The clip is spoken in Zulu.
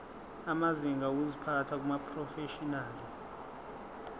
amazinga okuziphatha kumaprofeshinali